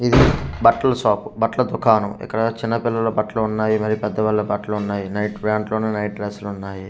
ఇది బట్ల షాపు బట్ల దుకాణము ఇక్కడ చిన్న పిల్లల బట్లు ఉన్నాయి మరి పెద్ద వాళ్ళ బట్లు ఉన్నాయి నైట్ ప్యాంట్లూ ఉన్నాయి డ్రెస్ లు ఉన్నాయి.